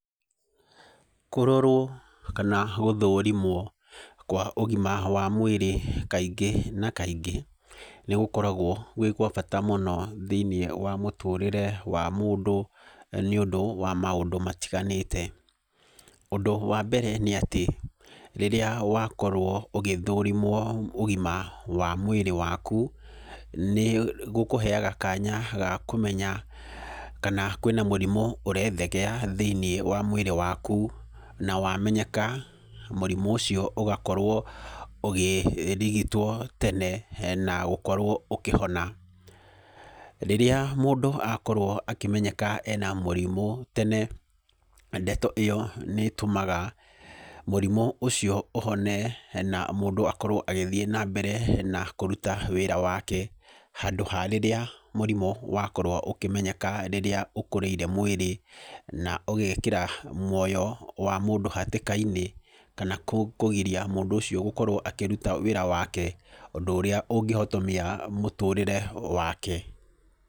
Kũrorwo kana gũthũrimwo kwa ũgima wa mwĩrĩ kaingĩ na kaingĩ, nĩ gũkoragwo gwĩ gwa bata mũno thĩiniĩ wa mũtũrĩre wa mũndũ, nĩ ũndũ wa maũndũ matiganĩte. Ũndũ wa mbere nĩ atĩ, rĩrĩa wakorwo ũgĩthũrimwo ũgima wa mwĩrĩ wakũ, nĩ gũkũheaga kanya ga kũmenya kana kwĩna mũrimũ ũrethegea thĩiniĩ wa mwĩrĩ wakũ. Na wamenyeka, mũrimũ ũcio ũgakorwo ũgĩrigitwo tene na gũkorwo ũkĩhona. Rĩrĩa mũndũ akorwo akĩmenyeka ena mũrimũ tene, ndeto ĩyo nĩ ĩtũmaga mũrimũ ũcio ũhone na mũndũ akorwo agĩthiĩ nambere na kũruta wĩra wake, handũ ha rĩrĩa mũrimũ wakorwo ũkĩmenyeka rĩrĩa ũkũrĩire mwĩrĩ na ũgekĩra mũoyo wa mũndũ hatĩka-inĩ, kana kũgiria mũndũ ũcio gũkorwo akĩrũta wĩra wake, ũndũ ũrĩa ũngĩhotomia mũtũrĩre wake.